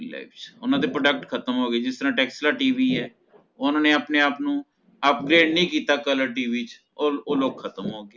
ਓਹਨਾ ਦੇ product ਖਤਮ ਹੋਗੇ ਜਿਸ ਤਰ੍ਹਾਂ tesla tv ਹੈ ਓਹਨਾ ਨੇ ਆਪਣੇ ਆਪ ਨੂ update ਨੀ ਕੀਤਾ colored tv ਚ ਓਹ ਲੋਗ ਖਤਮ ਹੋਗੇ